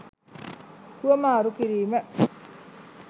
හුවමාරු කිරීම